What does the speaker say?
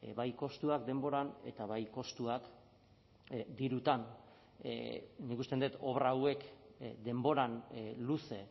bai kostuak denboran eta bai kostuak dirutan nik uste dut obra hauek denboran luze